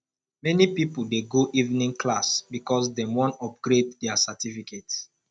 many pipo dey go evening class because dem wan upgrade their certificate